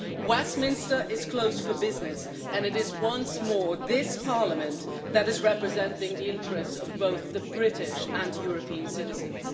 Westminster is closed for business and it is once more this Parliament that is representing the interests of both British and European citizens.